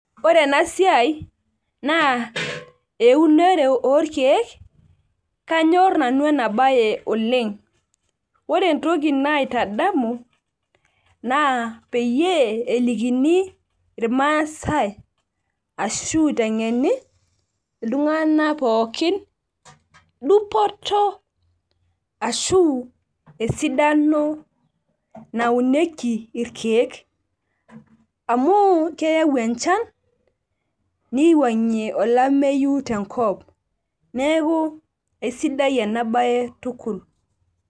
ore ena siai, naa eunore orkeek, kanyor nanu ena sbae oleng. ore entoki naitadamu naa peyie elikini irmaasae ashu itengeni iltunganak pookin dupoto ashu esidano naunieki irkeek. amu keyau enchan niwangie olameyu tenkop neeku isidai ena bae tukul.